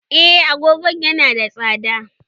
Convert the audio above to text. Eh, agogon yana da tsada.